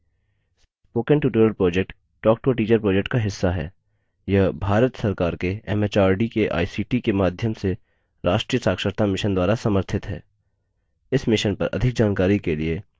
spoken tutorial project talktoateacher project का हिस्सा है यह भारत सरकार के एमएचआरडी के आईसीटी के माध्यम से राष्ट्रीय साक्षरता mission द्वारा समर्थित है